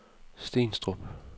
Stenstrup